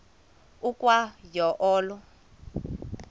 ukwa yo olo